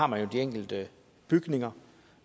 man har de enkelte bygninger